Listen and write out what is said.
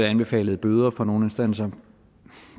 anbefalet bøder fra nogle instanser